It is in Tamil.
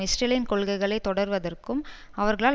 இஸ்ரேலின் கொள்கைகளை தொடர்வதற்கும் அவர்களால்